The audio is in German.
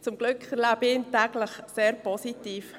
Zum Glück erlebe ich ihn täglich sehr positiv.